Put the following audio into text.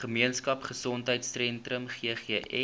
gemeenskap gesondheidsentrum ggs